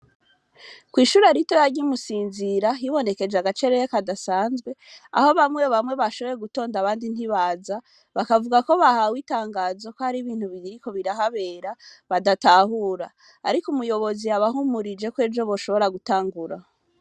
Kw'ishuri arito yarya imusinzira hibonekeje agacereya kadasanzwe aho bamwe bamwe bashoboye gutonda abandi ntibaza bakavuga ko bahawe itangazo ko ari bintu bigiriko birahabera badatahura, ariko umuyobozi abahumurije kwejo boshobora gutangura.